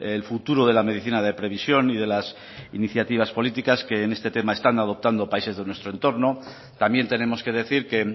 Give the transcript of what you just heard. el futuro de la medicina de previsión y de las iniciativas políticas que en este tema están adoptando países de nuestro entorno también tenemos que decir que